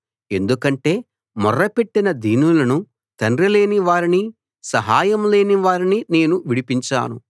ఎందుకంటే మొర్ర పెట్టిన దీనులను తండ్రి లేని వారిని సహాయం లేని వారిని నేను విడిపించాను